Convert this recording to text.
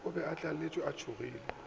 be a tlaletšwe a tšhogile